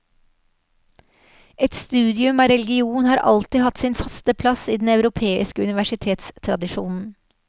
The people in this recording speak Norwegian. Et studium av religion har alltid hatt sin faste plass i den europeiske universitetstradisjonen.